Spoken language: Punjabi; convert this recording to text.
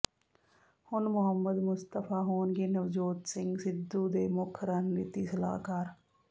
ਹੁਣ ਮੁਹੰਮਦ ਮੁਸਤਫ਼ਾ ਹੋਣਗੇ ਨਵਜੋਤ ਸਿੰਘ ਸਿੱਧੂ ਦੇ ਮੁੱਖ ਰਣਨੀਤੀ ਸਲਾਹਕਾਰ